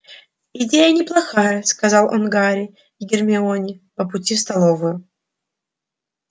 идея неплохая сказал он гарри и гермионе по пути в столовую